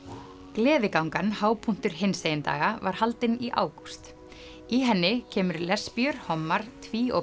gleðigangan hápunktur hinsegin daga var haldin í ágúst í henni kemur lesbíur hommar tví og